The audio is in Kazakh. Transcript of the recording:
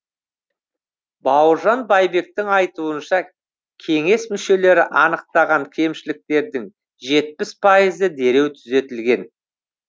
бауыржан байбектің айтуынша кеңес мүшелері анықтаған кемшіліктердің жетпіс пайызы дереу түзетілген